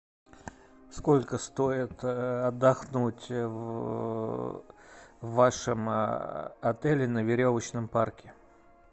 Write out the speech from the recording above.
сколько стоит отдохнуть в вашем отеле на веревочном парке